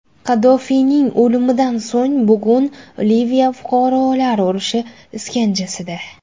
Qaddofiyning o‘limidan so‘ng bugun Liviya fuqarolar urushi iskanjasida.